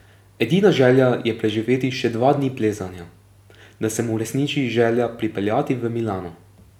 Edina želja je preživeti še dva dni plezanja, da se mu uresniči želja pripeljati v Milano.